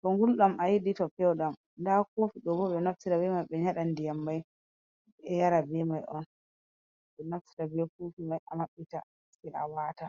to ngulɗam ayiɗi to pewɗam. Nda koofi ɗo bo ɓe naftira be man ɓe nyeɗa ndiyam mai, ɓe yara be mai on. Ɓe naftira be koofi mai a maɓɓita, sai a waata.